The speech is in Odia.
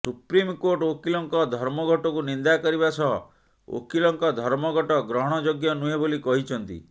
ସୁପ୍ରିମକୋର୍ଟ ଓକିଲଙ୍କ ଧର୍ମଘଟକୁ ନିନ୍ଦା କରିବା ସହ ଓକିଲଙ୍କ ଧର୍ମଘଟ ଗ୍ରହଣଯୋଗ୍ୟ ନୁହେଁ ବୋଲି କହିଛନ୍ତି